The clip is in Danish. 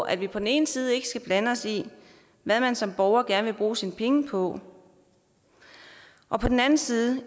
at vi på den ene side ikke skal blande os i hvad man som borger gerne vil bruge sine penge på og på den anden side